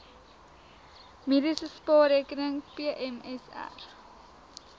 mediese spaarrekening pmsr